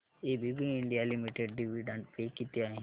ABB India limited dividend pay किती आहे